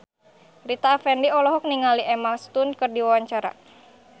Rita Effendy olohok ningali Emma Stone keur diwawancara